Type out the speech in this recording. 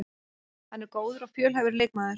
Hann er góður og fjölhæfur leikmaður